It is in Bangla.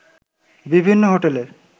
বিভিন্ন হোটেলের